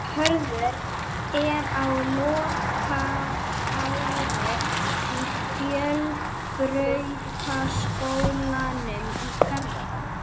Hörður er á lokaári í Fjölbrautaskólanum í Garðabæ.